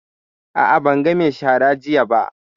A'a, ban ga mai shara jiya ba.